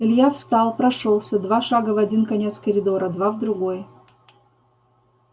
илья встал прошёлся два шага в один конец коридора два в другой